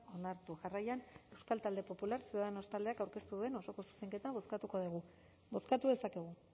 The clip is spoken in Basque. onartu jarraian euskal talde popular ciudadanos taldeak aurkeztu duen osoko zuzenketa bozkatuko dugu bozkatu dezakegu